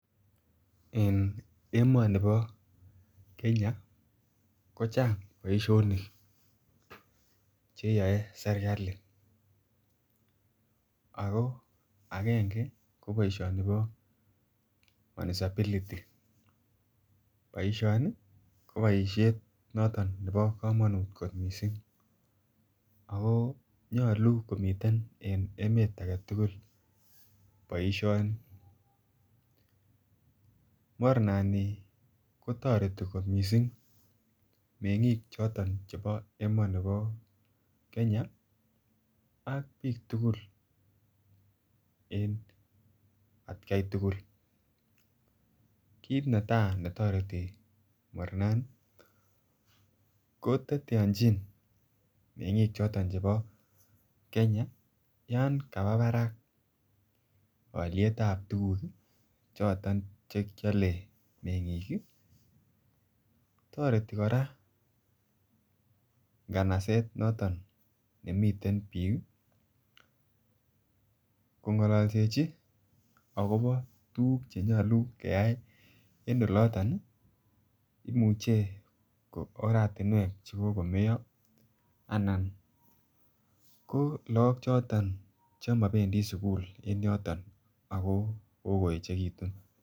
En emonibo Kenya ko chang boisionik che yoe serkali ako angenge ko boisioni bo Municipality boisioni ko boishet noton nebo komonut kot missing ako nyoluu komiten en emet agetugul boisioni. Mornani kotoreti kot missing mengik choton chebo emonibo Kenya ak biik tugul en atkai tugul. Kit netaa netoreti mornani ko teteochin mengiik choton chebo Kenya yan kabaa Barak olyetab tuguk choton che kyole mengiik ii. Toreti koraa nganaset noton nemiten biik ii ko ngololsechi akobo tuguk che nyoluu keyay en oloton ii imuche ko oratinwek che kokomeyo anan ko look choton che mobendii sukul en yoton ako kogo echegitun